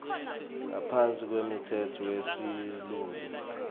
ngaphansi kwemtsetfo wesilumbi